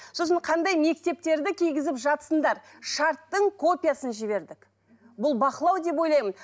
сосын қандай мектептерді кигізіп жатсыңдар шарттың копиясын жібердік бұл бақылау деп ойлаймын